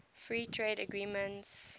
free trade agreements